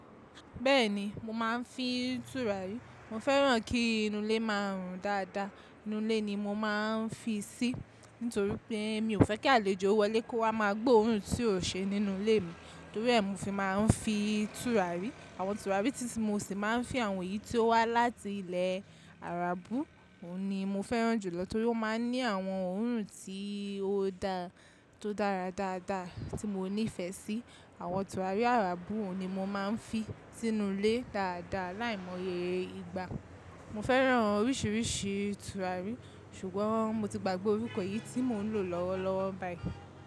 Bẹ́ẹ̀ni mo máa ń fi tùràrí, mo fẹ́ràn kí inú ilé má rùn dáadáa, inú ilé ni mo máa ń fi sí torí pé mi ò fẹ́ kí àlejò wọlé kó wá má gbo orun tí ò ṣe nínú ilé mi, torí è mi ò fi máa ń fi tùràrí. Àwọn tùràrí tí mo sì máa ń fi àwọn yìí tí ó wá láti ilẹ̀ àràbú, òun ni mo fẹ́ràn jù lọ torí ó máa ń ní àwọn orun tí ó da tó dára dáadáa tí mo nífẹ̀ẹ́ sí. Àwọn tùràrí àràbú òun ni mo máa ń fi sínú ilé dáadáa láìmọye ìgbà. Mo fẹ́ràn oríṣìíríṣìí tùràrí ṣùgbọ́n mo ti gbàgbé orúkọ yìí tí mò ń lò lọ́wọ́lọ́wọ́ báyìí.